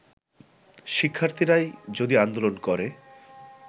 শিক্ষার্থীরাই যদি আন্দোলন করে